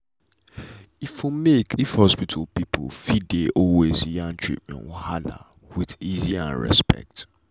e for make if hospital people fit dey always yarn treatment wahala with easy and respect.